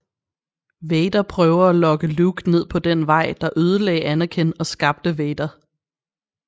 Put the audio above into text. Vader prøver at lokke Luke ned på den vej der ødelage Anakin og skabte Vader